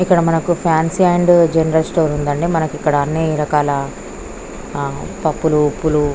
ఇక్కడ మనకు fancy and general store ఉంది అండి. మనకు ఇక్కడ అన్ని రకాల పప్పులు ఉప్పులూ --